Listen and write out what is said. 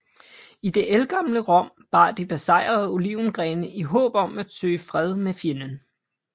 I det ældgamle Rom bar de besejrede olivengrene i håb om at søge fred med fjenden